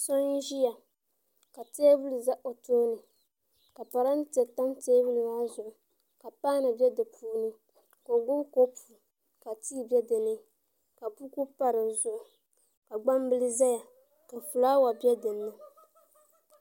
So n ʒiya ka teebuli ʒɛ o tooni ka parantɛ tam teebuli maa zuɣu ka paanu bɛ di puuni ka o gbubi kopu ka tii bɛ ka gbambili ʒɛya ka fulaawa bɛ dinni